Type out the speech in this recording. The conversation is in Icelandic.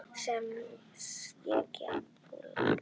Það sem ég get bullað.